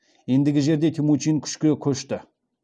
ендігі жерде темучин күшке көшті